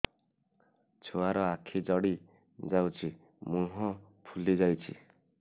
ଛୁଆର ଆଖି ଜଡ଼ି ଯାଉଛି ମୁହଁ ଫୁଲି ଯାଇଛି